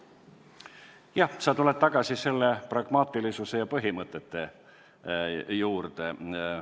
Jah, sa tuled tagasi pragmaatilisuse ja põhimõtete juurde.